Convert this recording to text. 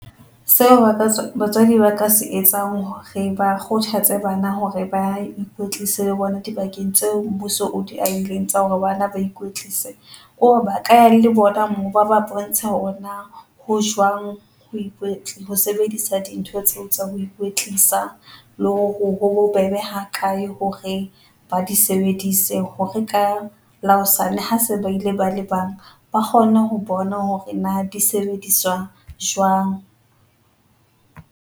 Seo batswadi ba ka se etsang hore ba kgothatse bana hore ba ikwetlise le bona dibakeng tseo mmuso o di ahileng tsa hore bana ba ikwetlise kore ba ka ya le bona moo, ba ba bontshe hore na, ho jwang ho ho sebedisa dintho tseo tsa ho ikwetlisa le hore ho bobebe ha kae hore ba di sebedise hore ka la hosane ha se ba ile ba le bang, ba kgone ho bona hore na di sebediswa jwang.